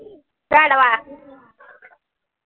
गाढवा